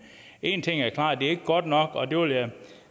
en ting er klart det er ikke godt nok og det vil jeg